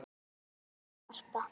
Brynja og Harpa.